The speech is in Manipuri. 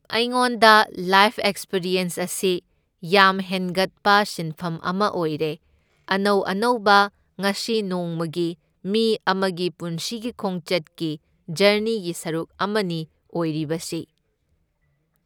ꯑꯩꯉꯣꯟꯗ ꯂꯥꯏꯐ ꯑꯦꯛꯁꯄꯤꯔꯤꯌꯟꯁ ꯑꯁꯤ ꯌꯥꯝ ꯍꯦꯡꯒꯠꯄ ꯁꯤꯟꯐꯝ ꯑꯃ ꯑꯣꯏꯔꯦ, ꯑꯅꯧ ꯑꯅꯧꯕ ꯉꯁꯤ ꯅꯣꯡꯃꯒꯤ ꯃꯤ ꯑꯃꯒꯤ ꯄꯨꯟꯁꯤꯒꯤ ꯈꯣꯡꯆꯠꯀꯤ ꯖꯔꯅꯤꯒꯤ ꯁꯔꯨꯛ ꯑꯃꯅꯤ ꯑꯣꯏꯔꯤꯕꯁꯤ꯫